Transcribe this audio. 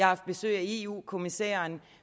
haft besøg af eu kommissæren